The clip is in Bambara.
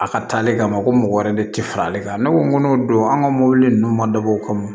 A ka taali kama ko mɔgɔ wɛrɛ de tɛ fara ale kan ne ko n ko n'o don an ka mɔbili ninnu ma dabɔ o kama